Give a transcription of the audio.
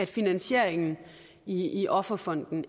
finansieringen i offerfonden